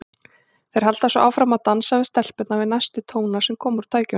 Þeir halda svo áfram að dansa við stelpurnar við næstu tóna sem koma úr tækjunum.